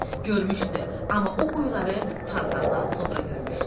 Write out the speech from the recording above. Görmüşdü, amma o quyuları fontandan sonra görmüşdü.